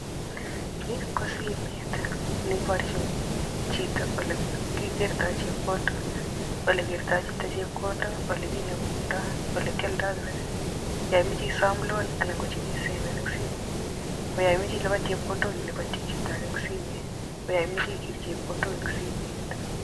Ni ko simet ne ibarjin chito ole kikertoi chepkondok ole kertoi chito chepkondok, ole kinemundoi, ole kialdoi credit. Yo imoche isoom loan anan ko chekiisepen eng simet. Ko yo imache ilipan chepkondok ilipanji chito age eng simet, ko yo imoche ikeer chepkondok eng simet.